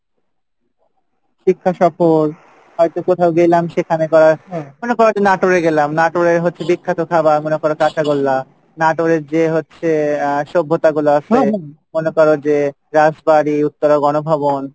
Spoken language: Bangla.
হয়তো কোথাও গেলাম সেখানে যায়ে মনে করো যে নাটোরে গেলাম নাটোরে হচ্ছে বিখ্যাত খাবার মনে করো কাঁচা গোল্লা নাটোরের যে হচ্ছে আহ সভ্যতা গুলা আসে মনে করো যে রাজবাড়ি উত্তরা গণভবন,